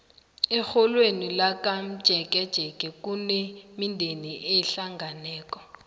erholweni lakamtjeketjeke kunemindeni ehlangeneko